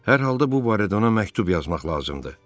Hər halda bu barədə ona məktub yazmaq lazımdır.